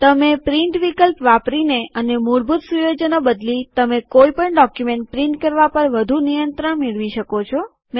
તમે પ્રિન્ટ વિકલ્પ વાપરીને અને મૂળભૂત સુયોજનો બદલી તમે કોઈ પણ ડોક્યુમેન્ટ પ્રિન્ટ કરવા પર વધુ નિયંત્રણ મેળવી શકો છો